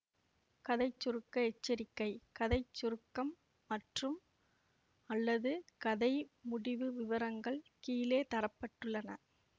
கதை சுருக்க எச்சரிக்கை கதை சுருக்கம் மற்றும்அல்லது கதை முடிவு விவரங்கள் கீழே தர பட்டுள்ளன